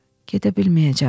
"Gedə bilməyəcəm.